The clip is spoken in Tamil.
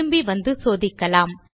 திரும்பி வந்து சோதிக்கலாம்